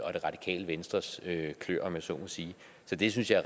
og det radikale venstres klør om jeg så må sige så det synes jeg